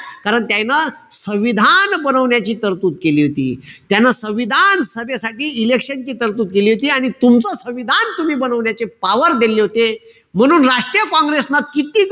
कारण त्याईनं संविधान बनवण्याची तरतूद केली होती. त्यानं संविधान सभेसाठी election ची तरतूद केली होती. अन तुमचं संविधान तुम्ही बनवण्याचे power दिली होती. म्हणून राष्ट्रीय काँग्रेसन किती,